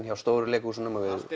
hjá stóru leikhúsunum við